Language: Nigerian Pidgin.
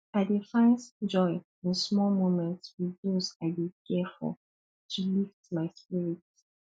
i dey find joy in small moments with those i dey care for to lift my spirits